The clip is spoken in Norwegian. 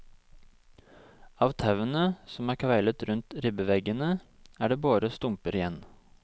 Av tauene, som er kveilet rundt ribbeveggene, er det bare stumper igjen.